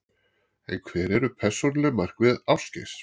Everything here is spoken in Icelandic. En hver eru persónuleg markmið Ásgeirs?